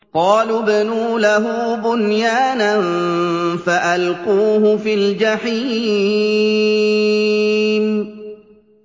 قَالُوا ابْنُوا لَهُ بُنْيَانًا فَأَلْقُوهُ فِي الْجَحِيمِ